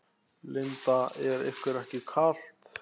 Linda: Er ykkur ekki kalt?